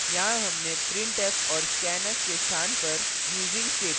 यहाँ हमने printf और scanf के स्थान पर using statement